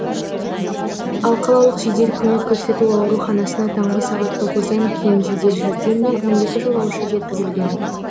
ал қалалық жедел көмек көрсету ауруханасына таңғы сағат тоғыздан кейін жедел жәрдеммен он екі жолаушы жеткізілген